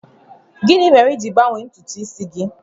Gịnị mere i ji gbanwee ntutu isi gị?